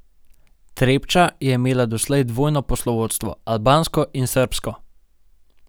Trepča je imela doslej dvojno poslovodstvo, albansko in srbsko.